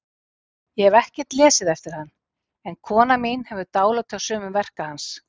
Ég hef ekkert lesið eftir hann, en kona mín hefur dálæti á sumum verka hans.